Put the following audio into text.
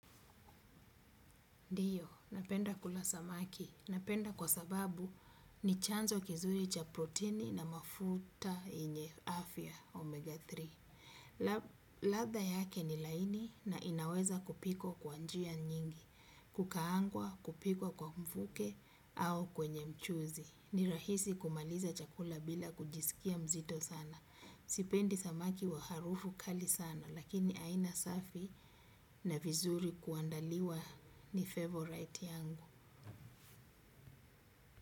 Ndiyo, napenda kula samaki. Napenda kwa sababu ni chanzo kizuri cha proteini na mafuta yenye afya omega tatu. Latha yake ni laini na inaweza kupikwa kwa njia nyingi, kukaangwa, kupikwa kwa mfuke au kwenye mchuzi. Ni rahisi kumaliza chakula bila kujisikia mzito sana. Sipendi samaki wa harufu kali sana lakini aina safi na vizuri kuandaliwa ni favorite yangu.